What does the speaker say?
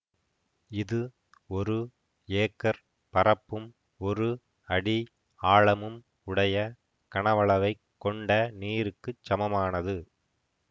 இது ஒரு ஏக்கர் பரப்பும் ஒரு அடி ஆழமும் உடைய கனவளவைக் கொண்ட நீருக்குச் சமனானது